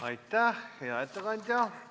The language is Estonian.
Aitäh, hea ettekandja!